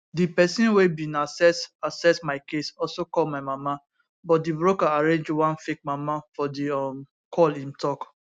di pesin wey bin assess assess my case also call my mama but di broker arrange one fake mama for di um call im tok